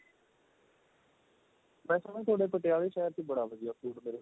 ਵੈਸੇ ਮੈਂ ਤੁਹਾਡੇ ਪਟਿਆਲੇ ਸ਼ਹਿਰ ਚ ਬੜਾ ਵਧੀਆ food ਮਿਲਦਾ